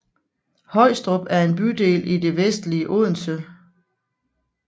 Højstrup er en bydel i det vestlige Odense